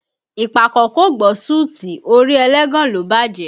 Ìpàkọ́ kò gbọ́ sùtì, orí ẹlẹ́gàn ló bájẹ̀